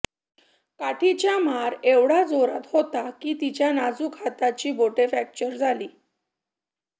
काठीच्या मार एवढा जोरात होता की तिच्या नाजूक हाताची बोटे फ्रॅक्चर झाली